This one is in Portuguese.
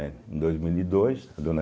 Em dois mil e dois